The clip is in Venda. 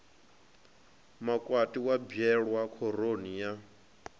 makwati wa bwelwa khoroni ya